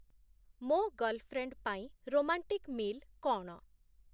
ମୋ ଗର୍ଲ୍‌ଫ୍ରେଣ୍ଡ୍‌ ପାଇଁ romantic meal କ’ଣ?